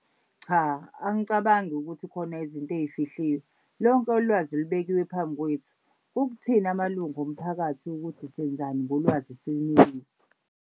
Cha, angicabangi ukuthi khona izinto ey'fihliwe lonke ulwazi lubekiwe phambi kwethu. Kukuthina amalunga omphakathi ukuthi senzani ngolwazi esilinikiwe.